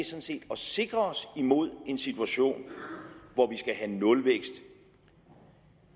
set at sikre os imod en situation hvor vi skal have nulvækst